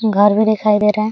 घर भी दिखाई दे रहा है।